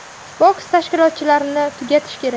Boks tashkilotlarini tugatish kerak.